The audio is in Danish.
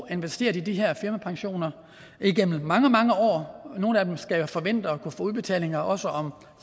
investeret i de her firmapensioner igennem mange mange år nogle af dem skal jo forvente at kunne få udbetalinger også om